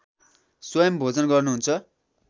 स्वयम् भोजन गर्नुहुन्छ